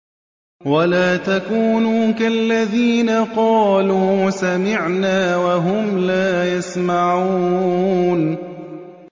وَلَا تَكُونُوا كَالَّذِينَ قَالُوا سَمِعْنَا وَهُمْ لَا يَسْمَعُونَ